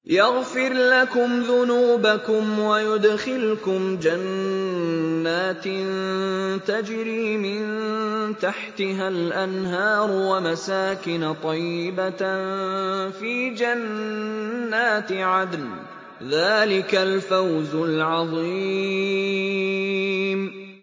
يَغْفِرْ لَكُمْ ذُنُوبَكُمْ وَيُدْخِلْكُمْ جَنَّاتٍ تَجْرِي مِن تَحْتِهَا الْأَنْهَارُ وَمَسَاكِنَ طَيِّبَةً فِي جَنَّاتِ عَدْنٍ ۚ ذَٰلِكَ الْفَوْزُ الْعَظِيمُ